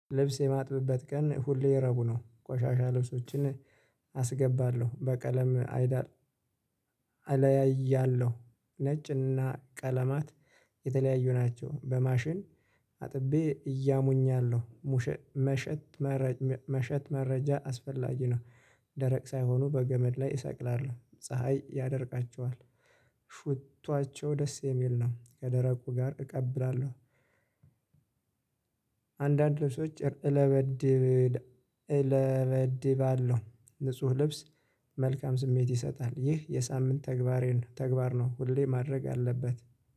ልብስ የማጥብበት ቀን ሁሌ ረቡዕ ነው ቆሻሻ ልብሶችን አስገባለሁ በቀለም አይዳል እለያያለሁ ነጭና ቀለማት የተለያዩ ናቸው። በማሽን አጥቤ እያሙኛለሁ ሙሽት መሸት መረጃ አስፈላጊ ነው። ደረቅ ሳይሆኑ በገመድ ላይ እሰቅላለሁ ፀሀይ ያደርቃቸዋል። ሽታቸው ደስ የሚል ነው ከደረቁ ጋር እቀበላለሁ። አንዳንድ ልብሶች እለብዳለሁ ንጹህ ልብስ መልካም ስሜት ይሰጣል ይህ የሳምንት ተግባሬ ነው። ተግባር ነው ሁሌ ማድረግ አለበት።